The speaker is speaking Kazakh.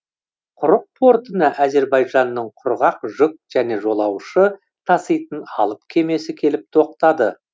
құрық портына әзербайжанның құрғақ жүк және жолаушы таситын алып кемесі келіп тоқтады